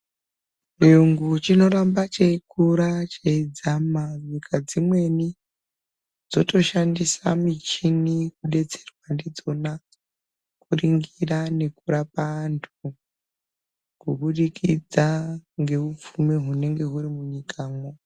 Chiyungu chinoramba cheikura cheidzama. Nyika dzimweni dzotoshandisa michini kudetserwa ndidzona kuringira nekurapa antu kubudikidza ngeupfumi hunenge huri munyikamwo.